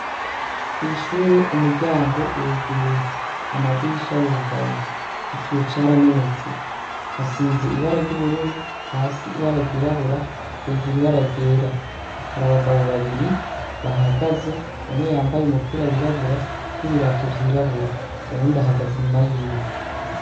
Kw'ishure umuryango uruguruye ,amadirisha arugaye ,ikiyo caramenetse, hasize ibara ry'ubururu ,hasi ibara ryirabura, hejuru ibara ryera ,harabagabo babiri bahahagaze umwe yambaye umupira wirabura n'ibirato vyirabura uwundi ahagaze inyuma yiwe.